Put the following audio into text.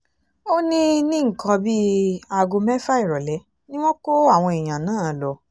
ó ní ní nǹkan bíi aago mẹ́fà ìrọ̀lẹ́ ni wọ́n kó àwọn èèyàn náà lọ